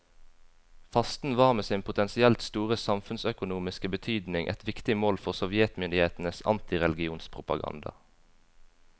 Fasten var med sin potensielt store samfunnsøkonomiske betydning et viktig mål for sovjetmyndighetenes antireligionspropaganda.